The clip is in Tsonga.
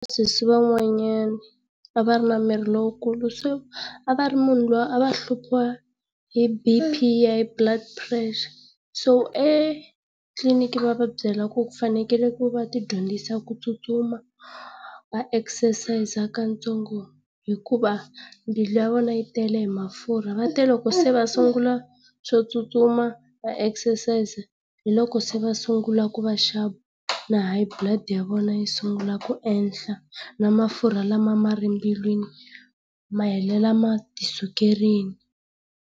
Sesi van'wanyana a va i na miri lowukulu se a va ri munhu luya a va hluphiwa hi BP hi high blood pressure. So etliliniki va va byela ku ku fanekele ku va ti dyondzisa ku tsutsuma, va ekisesayiza katsongo hikuva mbilu ya vona yi tele hi mafurha va te loko se va sungula swo tsutsuma va ekisesayiza hi loko se va sungula ku va sharp, na high blood ya vona yi sungula ku ehla, na mafurha lama a nga ri mbilwini ma helela ma ti sukerile.